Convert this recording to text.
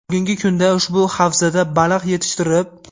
Bugungi kunda ushbu havzada baliq yetishtirib.